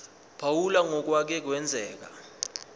phawula ngokwake kwenzeka